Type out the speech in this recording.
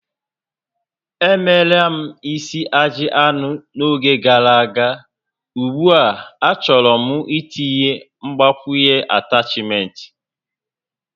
Emeela m isi ajị anụ n'oge gàrà aga, ugbu a achọrọ m itinye mgbakwunye atachment